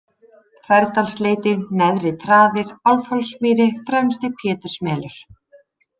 Þverdalsleiti, Neðri-Traðir, Álfhólsmýri, Fremsti-Pétursmelur